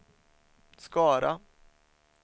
Skara